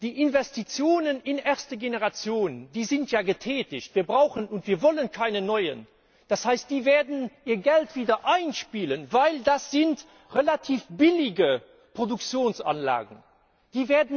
Die Investitionen in die erste Generation, die sind ja getätigt, wir brauchen und wir wollen keine neuen. Das heißt, die werden ihr Geld wieder einspielen, weil das relativ billige Produktionsanlagen sind.